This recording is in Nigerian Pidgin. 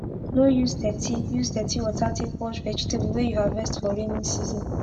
no use dirty use dirty water take wash vegetable wey u harvest for raining season